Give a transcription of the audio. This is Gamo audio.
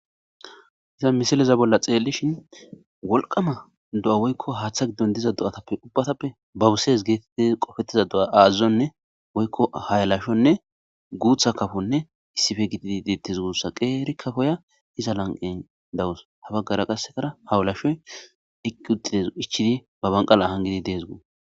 Ta misileza bolla xeellishin wolqama do7a woykko haaththa giddon diza do7atappe ubbatappe babuses geetettiz qofettiza do7a aazazonne woykko hayalashonne guutha kafonne issife gididi deettes guutsa qeeri kafoya iza lan7en dawus ha baggara qassekara hawulashoy eqqi uxides ichidi ba banqala hanldi dees gu